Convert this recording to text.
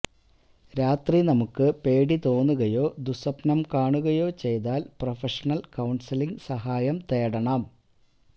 രാത്രി നമുക്ക് പേടി തോന്നുകയോ ദുസ്വപ്നം കാണുകയോ ചെയ്താല് പ്രൊഫഷണല് കൌണ്സലിങ്ങ് സഹായം തേടണം